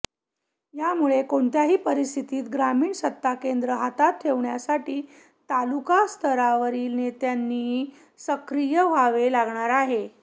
यामुळे कोणत्याही परिस्थितीत ग्रामीण सत्ताकेंद्रे हातात ठेवण्यासाठी तालुका स्तरावरील नेत्यांनाही सक्रिय व्हावे लागणार आहे